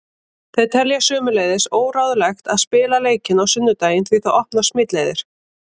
Þeir telja sömuleiðis óráðlegt að spila leikinn á sunnudaginn því það opnar smitleiðir.